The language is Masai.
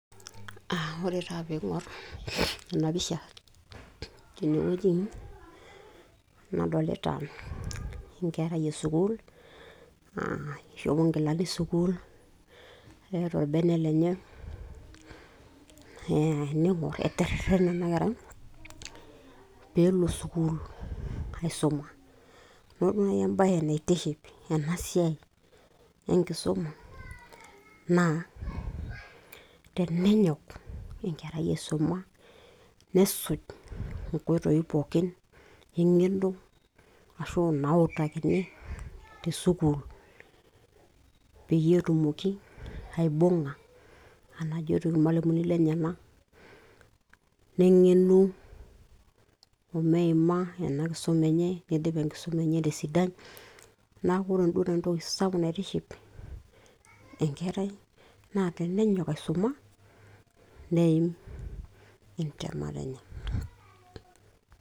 A ore taa piing'or ena pisha tene wueji nadolita enkerai e sukuul ishopo nkilani e sukuul, keeta orbene lenye, nee ening'or etererene ena kerai pee elo sukuul aisoma. Ore duo nai embaye naitish ena siai enkisoma naa tenenyok enkerai aisoma nesuj nkoitoi pookin eng'eno ashu nauutakini te sukuul peyie etumoki aibung'a enajoito irmalimuni lenyenak neng'enu o meima ena kisoma enye, nidip enkisoma enye te sidai. Ore duo nanu entoki sapuk naiiship enkerai naa tenenyok aisoma neim entemata enye.